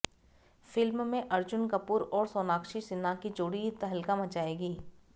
film में अर्जुन कपूर और सोनाक्षी सिन्हा की जोड़ी तहलका मचाएगी